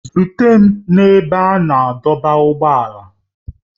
Zute m n'ebe a na-adọba ụgbọala!